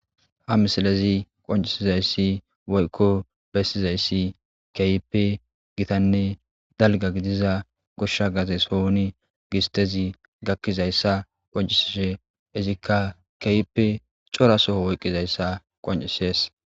ha misilezi qoncisizayssi woykko bessizayssi keyippe gitanne dalga gidiza goshsha gaze sohuni gistezi gakkizayssa qoncisishe izikka keyppe cora soho woyqqizayssa qoncisees